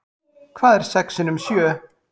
Hvað er sex sinnum sjö?